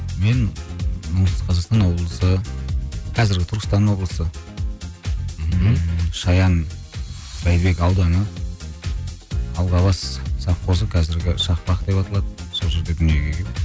мен оңтүстік қазақстан облысы қазіргі түркістан облысы мхм шаян райымбек ауданы алғабас совхозы қазіргі шақпақ деп аталады сол жерде дүниеге келгенмін